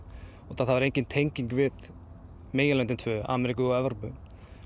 það var engin tenging við meginlöndin tvö Ameríku og Evrópu